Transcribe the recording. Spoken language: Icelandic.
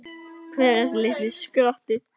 Hver er þessi litli skratti?